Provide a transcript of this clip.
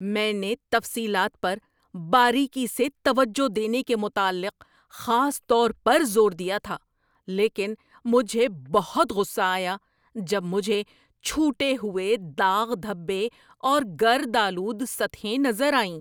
میں نے تفصیلات پر باریکی سے توجہ دینے کے متعلق خاص طور پر زور دیا تھا، لیکن مجھے بہت غصہ آیا جب مجھے چھوٹے ہوئے داغ دھبے اور گرد آلود سطحوں نظر آئیں۔